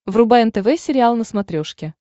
врубай нтв сериал на смотрешке